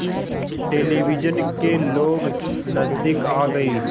television के लोग नज़दीक आ गए